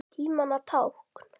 Tímanna tákn?